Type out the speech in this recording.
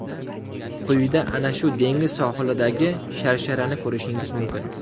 Quyida ana shu dengiz sohilidagi sharsharani ko‘rishingiz mumkin.